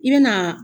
I bɛ na